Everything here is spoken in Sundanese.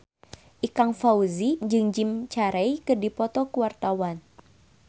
Ikang Fawzi jeung Jim Carey keur dipoto ku wartawan